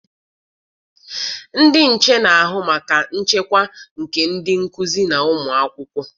Ndị nche na-ahụ maka nchekwa nke ndị nkụzi na ụmụakwụkwọ.